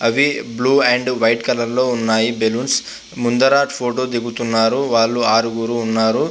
అవి blue and white colour లో ఉన్నాయి బలోన్స్ ముందరు ఫోటో దిగుతున్నారు వాళ్ళు ఆరుగురు ఉన్నారు .